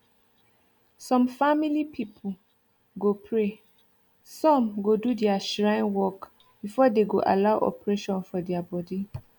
some family family people go praysome go do their shrine workbefore dey go allow operation for their body